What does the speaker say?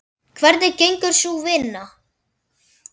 Hvernig gengur sú vinna?